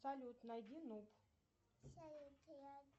салют найди нут